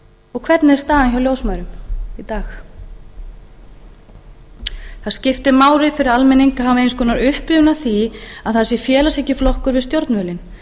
og hvernig er staðan hjá ljósmæðrum í dag það skiptir máli fyrir almenning að hafa eins konar upprifjun á því að það sé félagshyggjuflokkur við stjórnvölinn